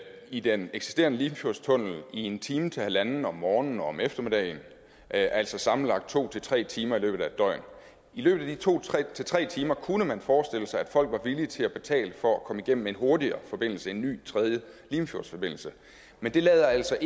i den eksisterende limfjordstunnel i en time til halvanden om morgenen og om eftermiddagen altså sammenlagt to tre timer i løbet af et døgn i løbet af de to tre timer kunne man forestille sig at folk var villige til at betale for at komme igennem en hurtigere forbindelse en ny tredje limfjordsforbindelse men det lader altså